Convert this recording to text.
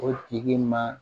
O tigi ma